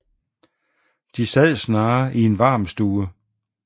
De sad snarere i en varm stue